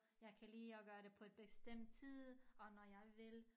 Jeg kan lide at gøre det på et bestemt tid og når jeg vil